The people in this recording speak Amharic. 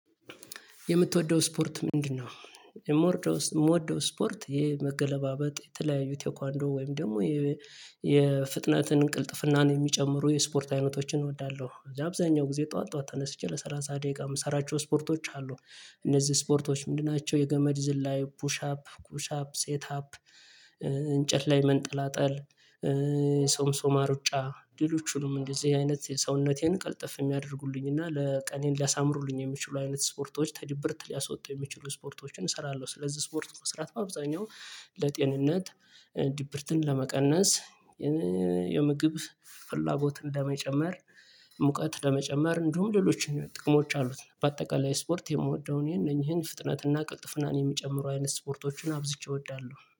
የምትወደው ስፖርት ምንድነው? የምወደው ስፖርት ይሄ መገለባበጥ የተለያዩ ቴክዋንዶ ወይም ደግሞ የፍጥነትን ቅልጥፍናን የሚጨምሩ የስፖርት አይነቶችን እወዳለሁ። አብዛኛው ጊዜ ጠዋት ጠዋት ተነስቼ ለሰላሳ ደቂቃ የምሰራቸው ስፖርቶች አሉ። እነዚህ ስፖርቶች ምንድን ናቸው? የገመድ ዝላይ ፑሻፕ ኩሻፕ ሴት አፕ እንጨት ላይ መንጠላጠል ሰምሶማ ሩጫ ሌሎችንም እንደዚህ አይነት ሰውነቴን ቅልጥፍ የሚያደርጉልኝ እና ለቀኔን ሊያሳምሩልኝ የሚችሉ አይነት ስፖርቶች ተድብርት ሊያስወጡ የሚችሉ ስፖርቶችን እሰራለሁ። ስለዚህ ስፖርት መስራት በአብዛኛው ለጤንነት ድብርትን ለመቀነስ የምግብ ፍላጎት እንደመጨመር ሙቀት ለመጨመር እንዲሁም ሌሎችን ጥቅሞች አሉት። በአጠቃላይ ስፖርት የምወደውን ይሄን እነኚህን ፍጥነትና ቅልጥፍናን የሚጨምሩ አይነት ስፖርቶችን አብዝቼ እወዳለሁ